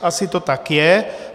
Asi to tak je.